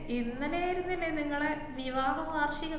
ഇന്നലെയാരുന്നില്ലേ നിങ്ങളെ വിവാഹ വാർഷികം?